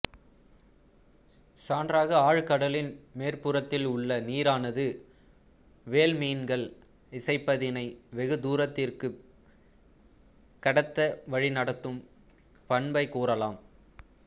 சான்றாக ஆழ்கடலின் மேற்புறத்தில் உள்ள நீரானது வேல் மீன்கள் இசைப்பதினை வெகு தூரத்திற்கு கடத்த வழிநடத்தும் பண்பைக் கூறலாம்